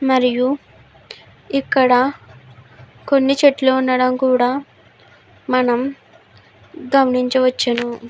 మరియు ఇక్కడ కొన్ని చెట్లు ఉండడం కూడా మనం గమనించవచ్చును.